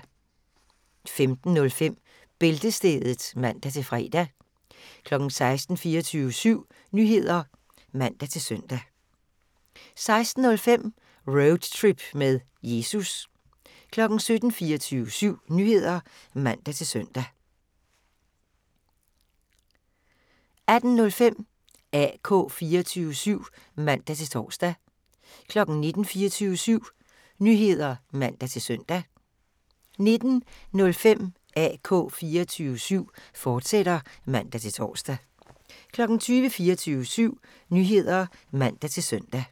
15:05: Bæltestedet (man-fre) 16:00: 24syv Nyheder (man-søn) 16:05: Roadtrip med Jesus 17:00: 24syv Nyheder (man-søn) 17:05: Bureauet for Afvist Litteratur 18:00: 24syv Nyheder (man-søn) 18:05: AK 24syv (man-tor) 19:00: 24syv Nyheder (man-søn) 19:05: AK 24syv, fortsat (man-tor) 20:00: 24syv Nyheder (man-søn)